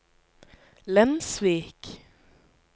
Lensvik